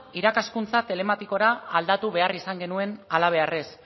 irakaskuntza telematikora aldatu behar izan genuen hala beharrez